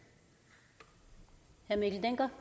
at det